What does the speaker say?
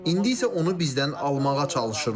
İndi isə onu bizdən almağa çalışırlar.